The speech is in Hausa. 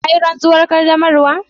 Ka yi rantsuwar qaddamarwa?